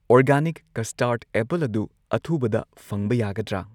organic ꯀꯁꯇꯥꯔꯗ apple ꯑꯗꯨ ꯑꯊꯨꯕꯗ ꯐꯪꯕ ꯌꯥꯒꯗ꯭ꯔꯥ